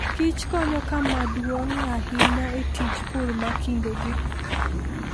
Kich konyo kama duong' ahinya e tij pur ma kindegi.